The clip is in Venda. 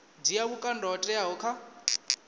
dzhia vhukando ho teaho kha